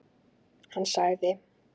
Hann sagði: